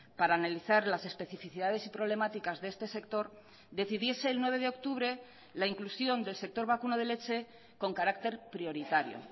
para analizar las especificidades y problemáticas de este sector decidiese el nueve de octubre la inclusión del sector vacuno de leche con carácter prioritario